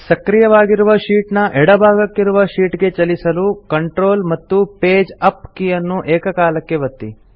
ಸಕ್ರಿಯವಾಗಿರುವ sheet ನ ಎಡ ಭಾಗಕ್ಕಿರುವ ಶೀಟ್ ಗೆ ಚಲಿಸಲು ಕಂಟ್ರೋಲ್ ಮತ್ತು ಪೇಜ್ ಅಪ್ ಕೀ ಅನ್ನು ಏಕಕಾಲಕ್ಕೆ ಒತ್ತಿ